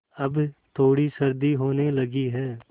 अब थोड़ी सर्दी होने लगी है